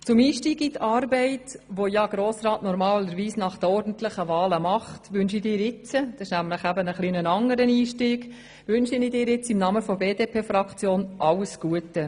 Zu deinem etwas anderen Einstieg in die Arbeit, die ein Grossrat normalerweise gleich nach den ordentlichen Wahlen erlebt, wünsche ich dir jetzt im Namen der BDP-Fraktion alles Gute.